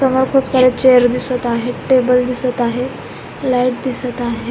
समोर खुप सारे चेअर दिसत आहे टेबल दिसत आहे लाइट दिसत आहे.